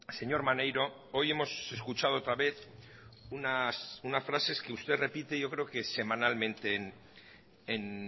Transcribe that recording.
señor maneiro hoy hemos escuchado otra vez unas frases que usted repite yo creo que semanalmente en